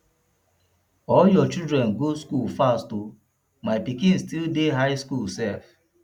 all your children go school fast oo my pikin still dey high school sef